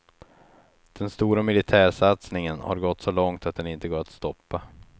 Den stora militärsatsningen har gått så långt att den inte går att stoppa.